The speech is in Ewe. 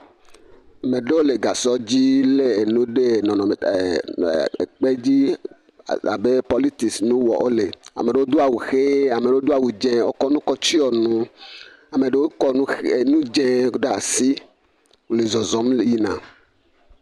Me ɖewo le gasɔdzi lé nu ɖe ɛɛ nɔnɔme ɛɛ, ɛɛ, ekpedzi abe pɔlitisi nu wɔ wole. Ame ɖewo do awu ʋee, ame ɖewo do awu dzẽee, wokɔ nu kɔtsyɔ nu, ame ɖewo kɔ nu ʋe, nu dzẽee ɖa asi le zɔzɔm yina.